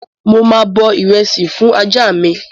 Mo máa bọ ìrẹsì fún ajá mi